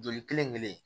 Joli kelen kelen